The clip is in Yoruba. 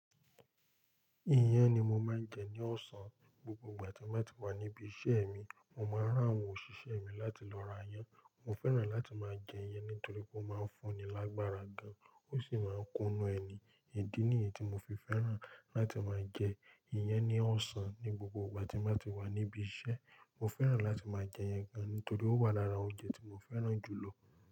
Iyán ni mo máa ń jẹ ní ọ̀sán. Gbogbo ìgbà tí mo bá ti wà níbi iṣẹ́ mi, mo máa rán àwọn òṣìṣẹ́ mi láti lọ ra iyán. Mo fẹ́ràn láti máa jẹ iyán nítorí ó máa ń fún ni lágbára gan-an, ó sì máa ń kúnnu ẹni. Idi ni èyí tí mo fi fẹ́ràn láti máa jẹ iyán ní ọ̀sán ní gbogbo ìgbà tí mo bá ti wà níbi iṣẹ́. Mo fẹ́ràn láti máa jẹ iyán gan-an nítorí ó wà lára oúnjẹ tí mo fẹ́ràn jù lọ.